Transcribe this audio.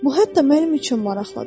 Bu hətta mənim üçün maraqlıdır.